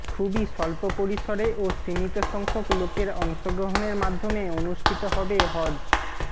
খুবই স্বল্প পরিসরে ও সীমিত সংখ্যক লোকের অংশগ্রহণের মাধ্যমে অনুষ্ঠিত হবে হজ